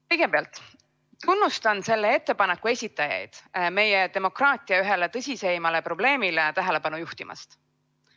Kõigepealt, ma tunnustan selle ettepaneku esitajaid meie demokraatia ühele tõsisemale probleemile tähelepanu juhtimast.